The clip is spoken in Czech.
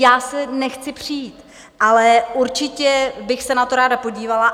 Já se nechci přít, ale určitě bych se na to ráda podívala.